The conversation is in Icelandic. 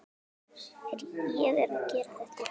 Ég er að gera þetta.